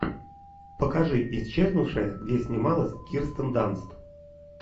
покажи исчезнувшая где снималась кирстен данст